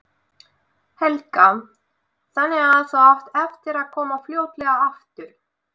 Helga: Þannig að þú átt eftir að koma fljótlega aftur?